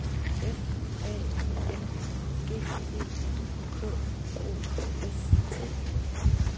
F A N G E K O S T